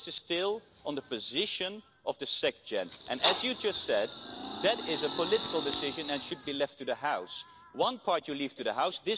So this is still about the position of the Secretary General and, as you just said, that is a political decision and should be left to the House. One part you leave to the House